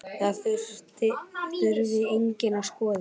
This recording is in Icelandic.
Það þurfi einnig að skoða.